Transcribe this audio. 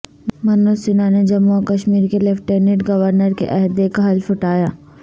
منوج سنہا نے جموں و کشمیر کے لیفٹیننٹ گورنر کے عہدے کا حلف اٹھایا